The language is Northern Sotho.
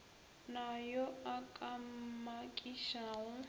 na yo a ka mmakišago